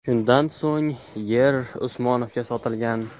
Shundan so‘ng yer Usmonovga sotilgan.